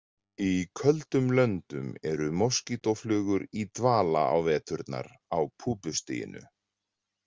Í köldum löndum eru moskítóflugur í dvala á veturnar á púpustiginu.